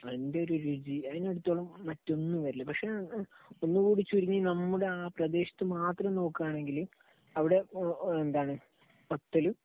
അതിന്റെ ഒരു രുചി, അതിനടുത്തൊന്നും മറ്റൊന്നും വരില്ല. പക്ഷേ ഒന്നുകൂടി ചുരുങ്ങി നമ്മുടെ ആ പ്രദേശത്തുമാത്രം നോക്കുകയാണെങ്കിൽ അവിടെ എന്താണ്, പത്തലും